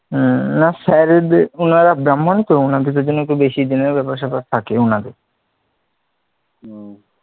হ্যাঁ sir এর দের উনারা ব্রাম্ভন তো উনাদের একটু বেশি দিনের ব্যাপার স্যাপার থাকে উনাদের,